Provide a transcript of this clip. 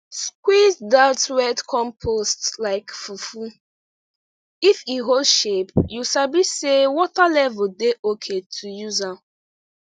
squeeze that wet compost like fufu if e hold shape you sabi say water level dey okay to use am